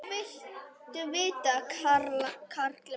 Hvað viltu vita, karl minn?